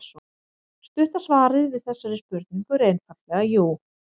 Stutta svarið við þessari spurningu er einfaldlega jú.